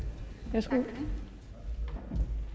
værsgo